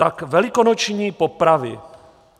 Tak velikonoční popravy.